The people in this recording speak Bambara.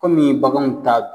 Kɔmi baganw t'a dun